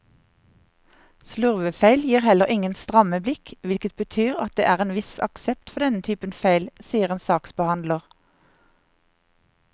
Slurvefeil gir heller ingen stramme blikk, hvilket betyr at det er en viss aksept for denne typen feil, sier en saksbehandler.